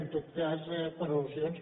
en tot cas per al·lusions